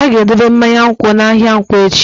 A ga-edobe mmanya nkwụ n'ahịa nkwo echi.